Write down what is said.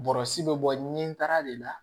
Bɔrɔsi bɛ bɔ ni nin taara de la